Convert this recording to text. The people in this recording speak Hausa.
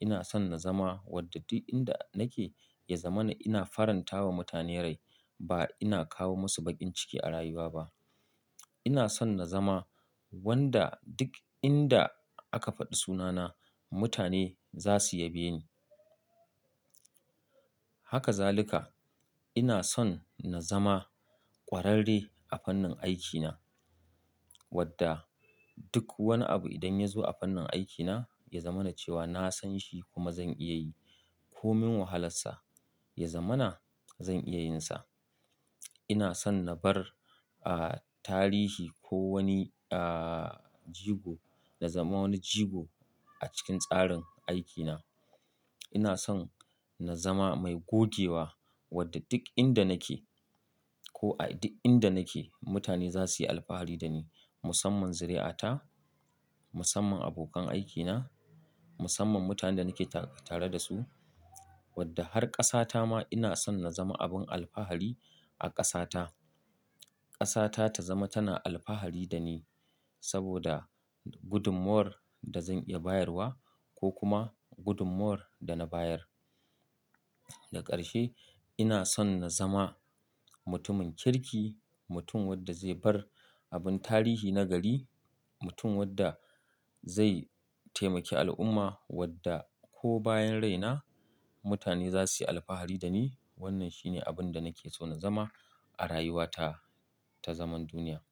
Ina son na zama wadda duk inda nake ya zama na ina faranta wa mutane rai ba ina kawo musu baƙin ciki a rayuwa ba. Ina son na zama wanda duk inda aka faɗi sunana mutane za su ya be ni. Haka zalika ina son na zama ƙwararre a fannin aikina wadda duk wani abu idan ya zo a fannin aikina ya zama na cewa na san shi kuma zan iya yi. Ko min wahalarsa ya zama na zan iya yin sa. Ina son na bar, ah, tarihi ko wani, ah, jigo, na zama wani jigo a cikin tsarin aikina. Ina son na zama mai gogewa wadda duk inda nake ko a duk inda nake mutane za su yi alfahari da ni musamman zuri'ata, musamman abokan aikina, musamman mutanen da nake tare da su. Wadda har ƙasa ta ma ina son na zama abin alfahari a ƙasa ta. Ƙasa ta ta zama tana alfahari da ni saboda gudunmuwar da zan iya bayarwa ko kuma gudunmuwar da na bayar. Da ƙarshe ina son na zama mutumin kirki, mutum wadda zai bar abin tarihi na gari, mutum wadda zai taimaki al'umma wadda ko bayan rai na mutane za su yi alfahari da ni. Wannan shi ne abin da nake so na zama a rayuwa ta ta zaman duniya.